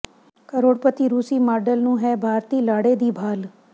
ਕਰੋੜਪਤੀ ਰੂਸੀ ਮਾਡਲ ਨੂੰ ਹੈ ਭਾਰਤੀ ਲਾੜੇ ਦੀ ਭਾਲ਼